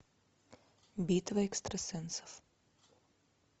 битва экстрасенсов